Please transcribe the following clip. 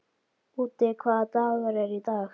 Úddi, hvaða dagur er í dag?